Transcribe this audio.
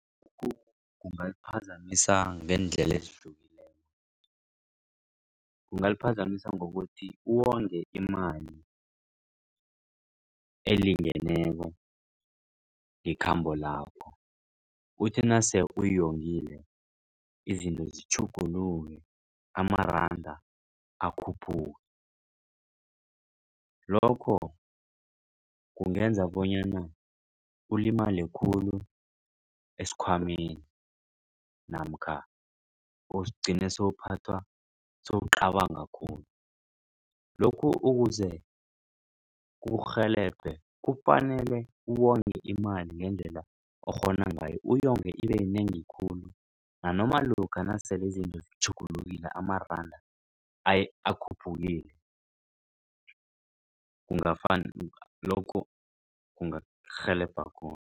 Kungaliphazamisa ngeendlela ezihlukileko, kungaliphazamisa ngokuthi uwonge imali elingeneko ngekhambo lakho uthi nase uyongile izinto zitjhuguluke amaranda akhuphuke. Lokho kungenza bonyana ulimale khulu esikhwameni namkha ugcine sokuphathwa sewucabanga khulu. Lokhu ukuze kukurhelebhe kufanele uwonge imali ngendlela okghona ngayo uyonge ibeyinengi khulu nanoma lokha nasele izinto zitjhugulukile amaranda akhuphukile lokhu kungarhelebha khona.